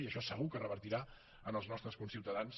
i això segur que revertirà en els nostres conciutadans